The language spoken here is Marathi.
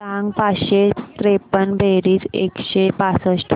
सांग पाचशे त्रेपन्न बेरीज एकशे पासष्ट